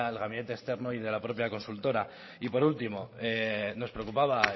gabinete externo y de la propia consultora y por último nos preocupaba